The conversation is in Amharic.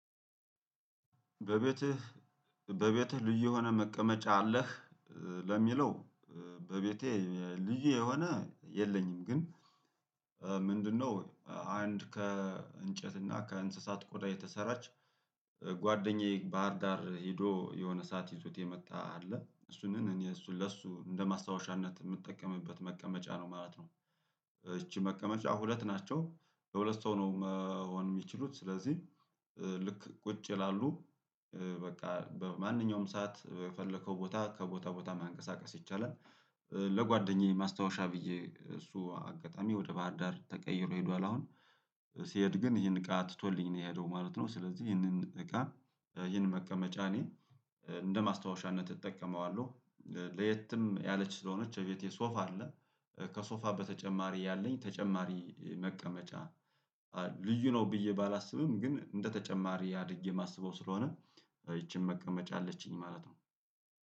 በቤትህ በቤትህ ልዩ የሆነ መቀመጫ አለህ? ለሚለው በቤቴ ልዩ የሆነ የለኝም። ግን ምንድነው? አንድ ከእንጨትና እና ከእንስሳት ቆዳ የተሰራች ጓደኛዬ ባህር ዳር ሄዶ የሆነ ሰዓት ይዞት የመጣ አለ እሱንም እኔ እሱን ለእሱ እንደ ማስታወሻነት የምጠቀምበት መቀመጫ ነው ማለት ነው። እቺ መቀመጫ ሁለት ናቸው በሁለት ሰው ነው መሆን የሚችሉት ስለዚህ ልክ ቁጭ ይላሉ በቃ በማንኛውም ሰዓት በፈለከው ቦታ ከቦታ ቦታ ማንቀሳቀስ ይቻላል። ለጓደኛዬ ማስታወሻ ብዬ እሱ አጋጣሚ ወደ ባህር ዳር ተቀይሮ ሄዷል። አሁን ሲሄድ ግን ይሄን እቃ ትቶልኝ ነው የሄደው ማለት ነው። ስለዚህ ይሄንን እቃ ይሄን መቀመጫ እኔ እንደ ማስታወሻነት እጠቀመዋለሁ። ለየትም ያለች ስለሆነች እቤቴ ሶፋ አለ። ከሶፋ በተጨማሪ ያለኝ ተጨማሪ መቀመጫ። ልዩ ነው ብዬ ባላስብም ግን እንደ ተጨማሪ አድጌ የማስበው ስለሆነ። ይቺን መቀመጫ አለችኝ ማለት ነው።